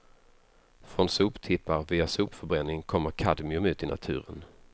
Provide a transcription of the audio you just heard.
Från soptippar och via sopförbränning kommer kadmium ut i naturen.